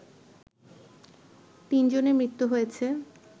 ৩ জনের মৃত্যু হয়েছে